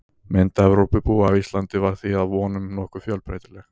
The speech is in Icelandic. Mynd Evrópubúa af Íslandi var því að vonum nokkuð fjölbreytileg.